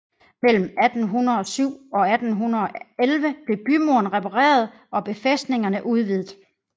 Mellem 1807 og 1811 blev bymuren repareret og befæstningerne udvidet